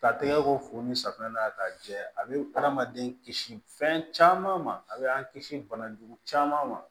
Ka tɛgɛ ko fo ni safunɛ na ka jɛ a bɛ adamaden kisi fɛn caman ma a bɛ an kisi bana jugu caman ma